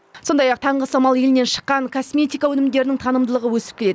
сондай ақ таңғы самал елінен шыққан косметика өнімдерінің танымдылығы өсіп келеді